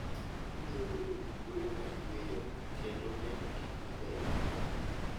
Ibiro bedo gi thuolo mar yueyo kendo neno gik mabeyo miwuoro.